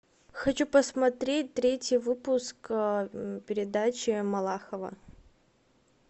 хочу посмотреть третий выпуск передачи малахова